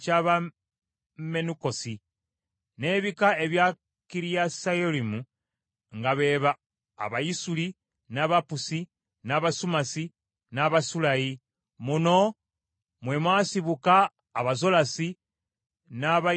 n’ebika ebya Kiriyasuyalimu nga be ba Abayisuli, n’Abapusi, n’Abasumasi, n’Abamisulayi. Muno mwe mwasibuka Abazolasi n’Abayesutawooli.